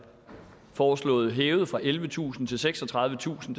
foreslået hævet fra ellevetusind kroner til seksogtredivetusind